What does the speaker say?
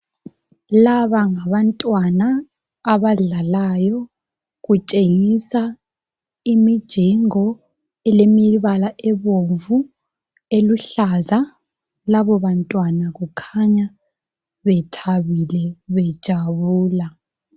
Laba ngabantwana abadlalayo. Kutshengisa imijingo elemibala ebomvu, eluhlaza. Labo bantwana kukhanya bethabile bejabula.